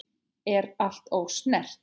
Er allt ósnert?